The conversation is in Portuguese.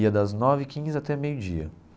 Ia das nove e quinze até meio-dia.